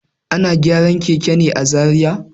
Ana gyaran keken ne a Zariya.